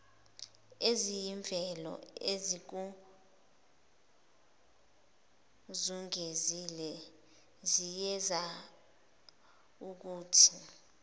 eziyimvelo ezikuzungezile ziyenzaukuthi